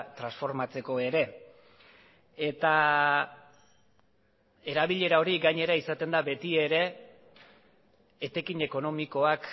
transformatzeko ere eta erabilera hori gainera izaten da beti ere etekin ekonomikoak